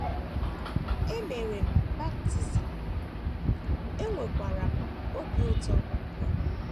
E mere m baptism, enwekwara m obi ụtọ ugbu a. ”